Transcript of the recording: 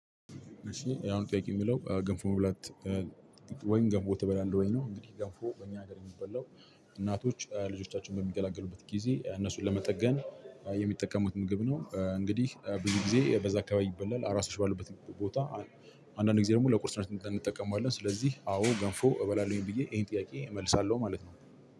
እሺ ያሁኑ ጥያቄ የሚለው ገንፎ መብላት ወይም ገንፎ ትበላለህ ወይም ነው? እንግዲህ ገንፎ በእኛ ሀገር የሚበላው እናቶች ልጆቻቸውን በሚገላገሉበት ጊዜ እነሱን ለመጠገን የሚጠቀሙት ምግብ ነው። እንግዲህ ብዙ ጊዜ በዛ አካባቢ ይበላል አራሶች ባለበት ቦታ አንዳንድ ጊዜ ደግሞ ለቁርስ ሰርተን እንጠቀማለን። ስለዚህ አዎ ገንፎ እበላለሁኝ ብዬ ይሄን ጥያቄ እመልሳለሁ ማለት ነው።